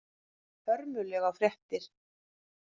Hörmulegar fréttir.